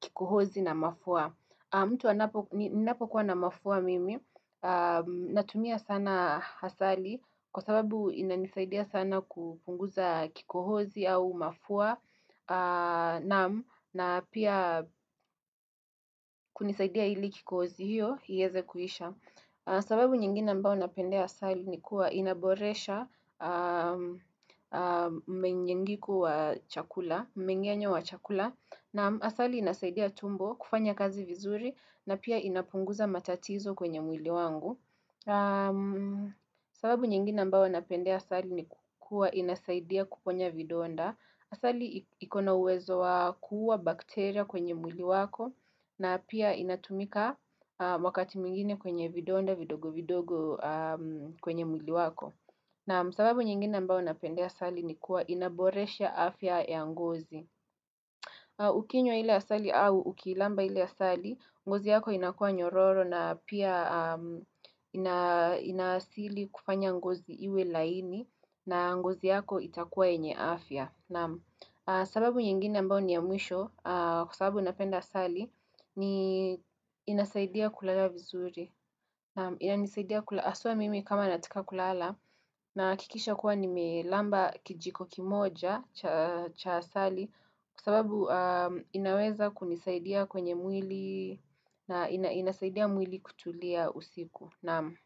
kikohozi na mafua mtu anapo ninapokuwa na mafua mimi natumia sana asali Kwa sababu inanisaidia sana kupunguza kikohozi au mafua naam na pia kunisaidia ili kikozi hiyo, iweze kuisha. Sababu nyingina ambayo napendea asali ni kuwa inaboresha mmenyengiku wa chakula, mmenge'nyo wa chakula, na asali inasaidia tumbo, kufanya kazi vizuri, na pia inapunguza matatizo kwenye mwili wangu. Sababu nyingina ambayo napendea asali ni kuwa inasaidia kuponya vidonda. Asali ikona uwezo wa kuua bakteria kwenye mwili wako na pia inatumika wakati mwingine kwenye vidonda vidogo, vidogo kwenye mwili wako. Na sababu nyingine ambayo napendea asali ni kuwa inaboresha afya ya ngozi au. Ukinywa ile asali au ukiilamba ile asali, ngozi yako inakuwa nyororo na pia ina inasili kufanya ngozi iwe laini na ngozi yako itakuwa yenye afya. Naam, sababu nyingine ambayo ni ya mwisho, kwa sababu napenda asali, ni inasaidia kulala vizuri. Naam inanisaidia hasua mimi kama nataka kulala nahakikisha kuwa nimelamba kijiko kimoja cha asali, kwa sababu inaweza kunisaidia kwenye mwili na inasaidia mwili kutulia usiku. Naam.